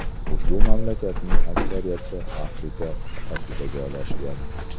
Ushbu mamlakatlarning aksariyati Afrika qit’asida joylashgan.